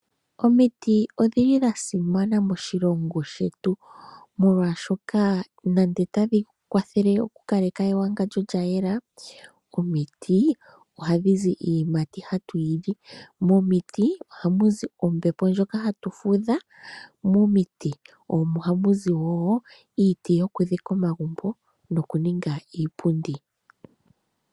Omiti odha simana moshilongo shetu, molwashoka otadhi kwathele ewangandjo okukala lya yela, omiti ohadhi zi iiyimati hatu yi lo nohamu zi ombepo ndjoka hatu fudhile mo. Momiti ohamu zi wo iiti yokudhika omagumbo nokuninga iipundi.